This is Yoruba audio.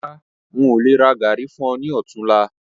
Rárá, ń ó lè rà gàárì fún ọ ní otunla